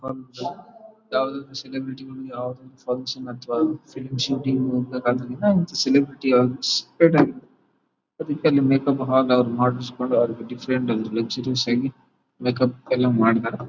ಯಾವುದೊ ಸೆಲೆಬ್ರಿಟಿ ಯಾವುದೊ ಫಂಕ್ಷನ್ ಅಥವಾ ಫಿಲಂ ಶೂಟಿಂಗ್ ಅಂತ ಕಾಣ್ತದೆ ಸೆಲೆಬ್ರಿಟಿ ಯಾ ಅದಕ್ಕೆ ಅಲ್ಲಿ ಮೇಕ್ಅಪ್ ಮಾಡಿಸಿ ಕೊಂಡು ಡಿಫರೆಂಟ್ ಆಗಿ ಲಕ್ಸುರಿಯಸ್ ಆಗಿ ಮೇಕ್ಅಪ್ ಎಲ್ಲ ಮಾಡಿದಾರೆ .